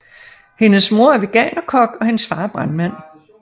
Hendes mor er Veganerkok og hendes far er brandmand